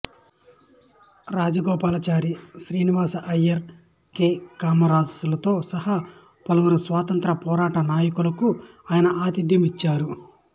Rajagopalachari Srinivasa Iyengar K Kamaraj లతో సహా పలువురు స్వాతంత్ర్య పోరాట నాయకులకు ఆయన ఆతిథ్యం ఇచ్చారు